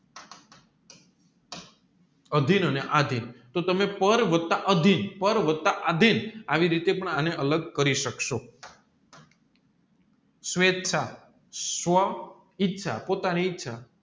અધીન અને આધીન તો તમે પેર વત્તા અધીન પેર વત્તા આધીન આવી રીતે પણ આને અલગ કરી શકશો સ્વૈચ્છ સ્વ ઈચ પોતાની ઈચ્છા